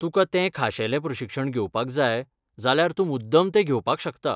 तुकां तें खाशेलें प्रशिक्षण घेवपाक जाय, जाल्यार तूं मुद्दम तें घेवपाक शकता.